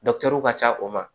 ka ca o ma